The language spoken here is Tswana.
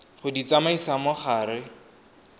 go di tsamaisa mo gare